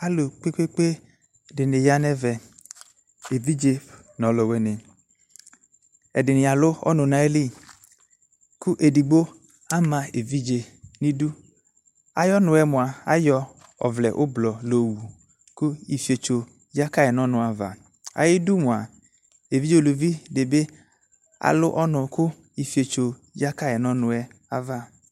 Alʋ kpe kpe dini yanʋ ɛvɛ evdize nʋ alʋwini ɛdini alʋ ɔnʋ nʋ atamili kʋ edigbo ama evidze nʋ idʋ ayɔ ɔvlɛ ʋblɔ layɔwʋ ɔnʋyɛ kʋ ifietso yakayi nʋ ɔnʋ ava ayi mʋa evidze ʋlʋvi dibi alʋ ɔnʋ kʋ ifietso yakayi nʋ ɔnʋɛ ava